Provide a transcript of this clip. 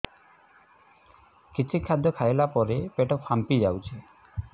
କିଛି ଖାଦ୍ୟ ଖାଇଲା ପରେ ପେଟ ଫାମ୍ପି ଯାଉଛି